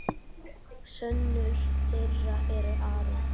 Sonur þeirra er Aron.